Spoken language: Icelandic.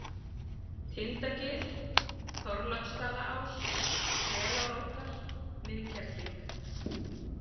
Tindagil, Þorláksstaðaás, Selároddar, Miðkerling